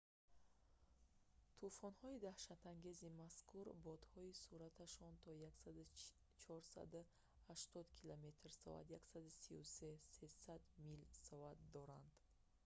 тӯфонҳои даҳшатангези мазкур бодҳои суръаташон то 480 км/соат 133 м/с; 300 мил/с доранд